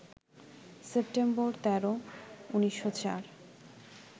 September ১৩, ১৯০৪